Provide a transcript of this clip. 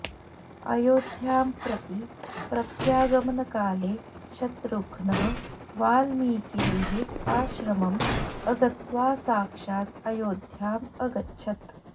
अयोध्यां प्रति प्रत्यागमनकाले शत्रुघ्नः वाल्मीकेः आश्रमम् अगत्वा साक्षात् अयोध्याम् अगच्छत्